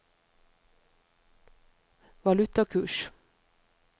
valutakurs